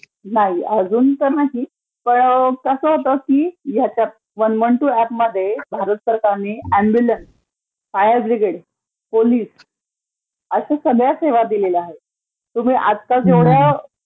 नाही अजून तर नाही, पण कसं होतं की ह्या वन वन टू ऍपमध्ये भारत सरकारनी ऍम्ब्युलन्स, फायर ब्रिगेड, पोलिस अश्या सगळ्याचं सेवा दिलेल्या आहेत. तुम्ही आता जेवढं